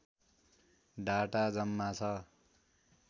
data जम्मा छ